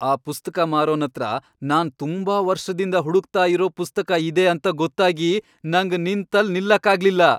ಆ ಪುಸ್ತಕ ಮಾರೋನತ್ರ ನಾನ್ ತುಂಬಾ ವರ್ಷ್ದಿಂದ ಹುಡುಕ್ತಾ ಇರೋ ಪುಸ್ತಕ ಇದೆ ಅಂತ ಗೊತ್ತಾಗಿ ನಂಗ್ ನಿಂತಲ್ ನಿಲ್ಲಕ್ಕಾಗ್ಲಿಲ್ಲ.